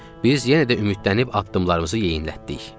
Biz yenə də ümidlənib addımlarımızı yeyinlətdik.